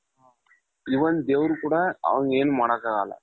even ದೇವ್ರು ಕೂಡ ಅವುನ ಏನು ಮಾಡಕ್ಕಾಗಲ್ಲ .